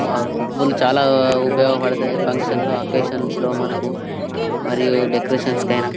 ఆ పువ్వులు చాలా ఉపయోగపడతాయి ఫంక్షన్స్ అకేషన్స్ లో మనకు మరియు డెకొరేషన్స్ కైనా.